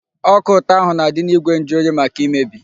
Ọka ụtọ ahụ na-adị n'igwe njuoyi, maka imebi.